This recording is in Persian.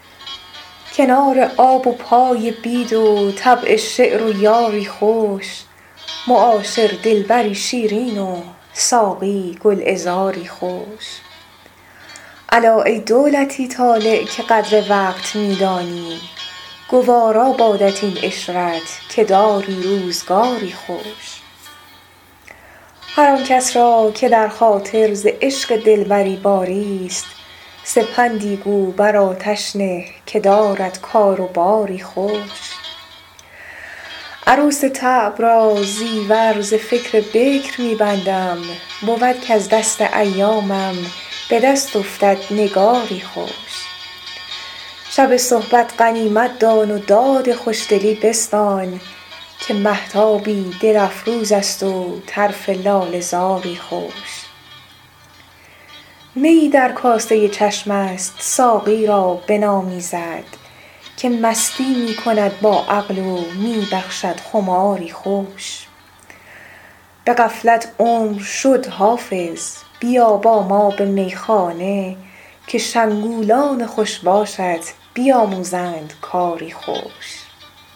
کنار آب و پای بید و طبع شعر و یاری خوش معاشر دلبری شیرین و ساقی گلعذاری خوش الا ای دولتی طالع که قدر وقت می دانی گوارا بادت این عشرت که داری روزگاری خوش هر آن کس را که در خاطر ز عشق دلبری باریست سپندی گو بر آتش نه که دارد کار و باری خوش عروس طبع را زیور ز فکر بکر می بندم بود کز دست ایامم به دست افتد نگاری خوش شب صحبت غنیمت دان و داد خوشدلی بستان که مهتابی دل افروز است و طرف لاله زاری خوش میی در کاسه چشم است ساقی را بنامیزد که مستی می کند با عقل و می بخشد خماری خوش به غفلت عمر شد حافظ بیا با ما به میخانه که شنگولان خوش باشت بیاموزند کاری خوش